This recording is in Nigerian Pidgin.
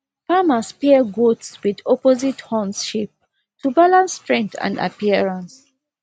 farmers pair goats with opposite horn shapes to balance strength and appearance